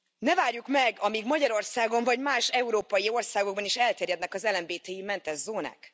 Ne várjuk meg, amíg Magyarországon, vagy más európai országokban is elterjednek az LMBTI mentes zónák.